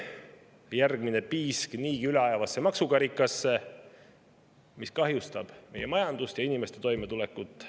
See on järgmine piisk niigi üle ajavasse maksukarikasse, mis kahjustab meie majandust ja inimeste toimetulekut.